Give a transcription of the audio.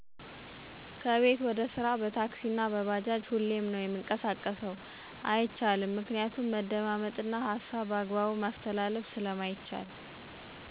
ከቤት ወደ ስራ በታክሲ አና በባጃጅ ሁሌም የምንቀሳቀሰው። አይቻልም ምክንያቱም መደማመጥ እና ሀሳብ በአግባቡ ማስተላለፍ ስለማይቻል